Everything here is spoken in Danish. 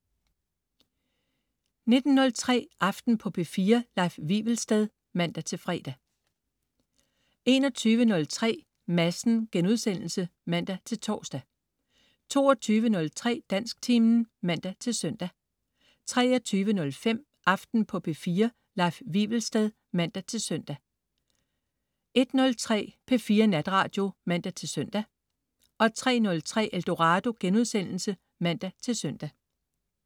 19.03 Aften på P4. Leif Wivelsted (man-fre) 21.03 Madsen* (man-tors) 22.03 Dansktimen (man-søn) 23.05 Aften på P4. Leif Wivelsted (man-søn) 01.03 P4 Natradio (man-søn) 03.03 Eldorado* (man-søn)